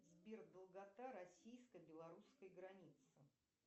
сбер долгота российско белорусской границы